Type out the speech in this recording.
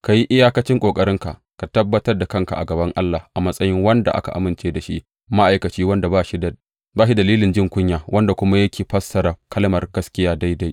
Ka yi iyakacin ƙoƙarinka ka gabatar da kanka a gaban Allah a matsayin wanda aka amince da shi, ma’aikaci wanda ba shi da dalilin jin kunya wanda kuma yake fassara kalmar gaskiya daidai.